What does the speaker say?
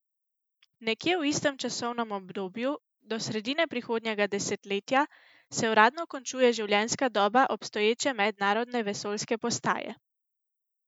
Nekje v istem časovnem obdobju, do sredine prihodnjega desetletja, se uradno končuje življenjska doba obstoječe mednarodne vesoljske postaje.